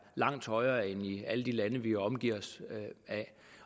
langt højere end i alle de lande vi er omgivet af